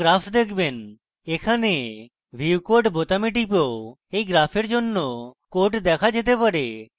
এখানে view code বোতামে টিপেও এই graph জন্য code দেখা যেতে পারে